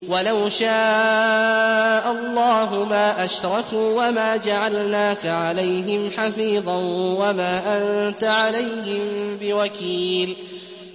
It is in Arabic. وَلَوْ شَاءَ اللَّهُ مَا أَشْرَكُوا ۗ وَمَا جَعَلْنَاكَ عَلَيْهِمْ حَفِيظًا ۖ وَمَا أَنتَ عَلَيْهِم بِوَكِيلٍ